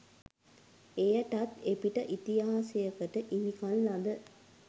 එයටත් එපිට ඉතිහාසයකට හිමිකම් ලද